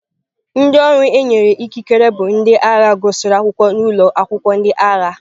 Ndị ọrụ e nyere ikike bụ ndị agha gụsịrị akwụkwọ n'ụlọ akwụkwọ ndị agha.